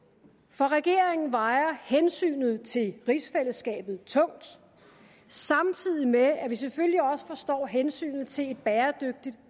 for regeringen vejer hensynet til rigsfællesskabet tungt samtidig med at vi selvfølgelig også forstår hensynet til et bæredygtigt